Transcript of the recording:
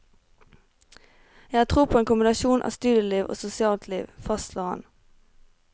Jeg har tro på en kombinasjon av studieliv og sosialt liv, fastslår han.